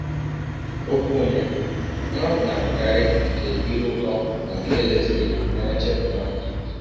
Ọkwụ ọnye nrafu na - abụkarị nke ire ụtọ na nke e leziri anya chepụta.